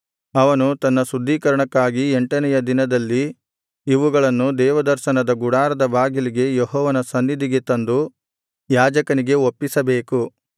ಅವನು ತನ್ನ ಶುದ್ಧೀಕರಣಕ್ಕಾಗಿ ಎಂಟನೆಯ ದಿನದಲ್ಲಿ ಇವುಗಳನ್ನು ದೇವದರ್ಶನದ ಗುಡಾರದ ಬಾಗಿಲಿಗೆ ಯೆಹೋವನ ಸನ್ನಿಧಿಗೆ ತಂದು ಯಾಜಕನಿಗೆ ಒಪ್ಪಿಸಬೇಕು